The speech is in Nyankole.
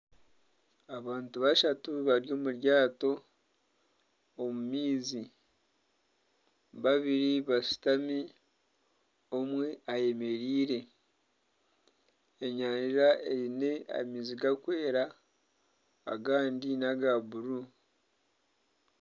Abantu bashatu bari omu ryato omu maizi. Babiri bashutami, omwe ayemereire. Enyanja eine amaizi garikwera agandi naga buru.